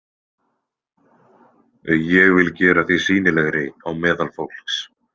Ég vil gera þig sýnilegri á meðal fólks